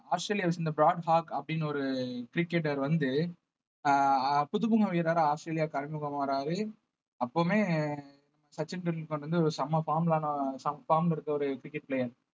ஆஸ்திரேலியாவை சேர்ந்த Brad Hogg அப்படின்னு ஒரு cricketer வந்து அஹ் அஹ் புதுமுக வீரரா ஆஸ்திரேலியாக்கு அறிமுகம் ஆவராரு அப்பவுமே சச்சின் டெண்டுல்கர் வந்து ஒரு செம form form ல இருக்க ஒரு cricket player